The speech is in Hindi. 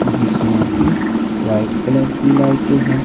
जिसमें कि व्हाइट कलर की लाइटें है।